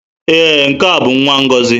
Ee, nke a bụ nwa Ngozi.